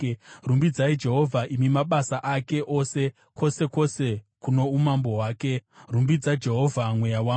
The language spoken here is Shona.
Rumbidzai Jehovha, imi mabasa ake ose kwose kwose kuno umambo hwake. Rumbidza Jehovha, mweya wangu.